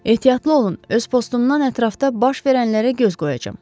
Ehtiyatlı olun, öz postumdan ətrafda baş verənlərə göz qoyacağam.